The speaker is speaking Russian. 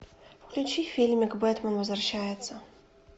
включи фильмик бэтмен возвращается